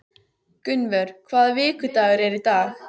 Gunnvör, hvaða vikudagur er í dag?